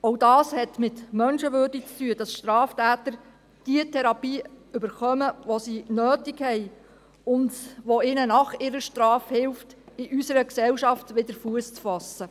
Auch das hat mit Menschenwürde zu tun, dass Straftäter diejenige Therapie erhalten, die sie nötig haben und die ihnen nach ihrer Strafe hilft, in unserer Gesellschaft wieder Fuss zu fassen.